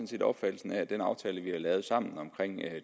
set opfattelsen af at den aftale vi har lavet sammen omkring